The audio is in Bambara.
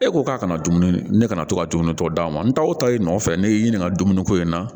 E ko k'a kana dumuni ne kana to ka dumuni tɔ d'a ma n ta o ta i nɔfɛ ne y'i ɲininka dumuni ko in na